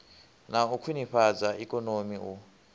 na u khwinifhadza ikonomi u